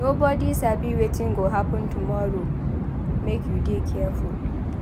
Nobodi sabi wetin go happen tomorrow make you dey careful.